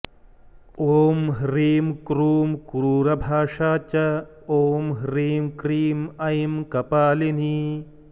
ॐ ह्रीं क्रूं क्रूरभाषा च ॐ ह्रीं क्रीं ऐं कपालिनी